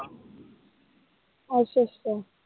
ਅੱਛਾ ਅੱਛਾ।